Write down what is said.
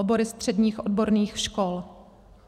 Obory středních odborných škol.